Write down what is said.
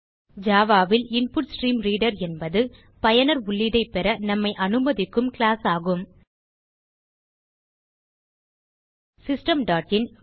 Java ல் InputStreamReader என்பது பயனர் உள்ளீடைப் பெற நம்மை அனுமதிக்கும் கிளாஸ் ஆகும் சிஸ்டம் டாட் இன்